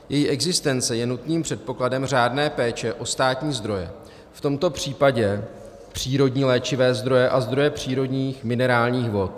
Její existence je nutným předpokladem řádné péče o státní zdroje, v tomto případě přírodní léčivé zdroje a zdroje přírodních minerálních vod.